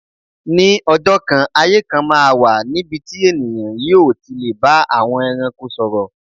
Ní ọjọ́ kan, ayé kan máa wà níbi tí ènìyàn yóò ti lè bá àwọn ẹranko sọ̀rọ̀.